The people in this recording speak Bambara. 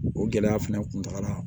O gɛlɛya fɛnɛ kun taga la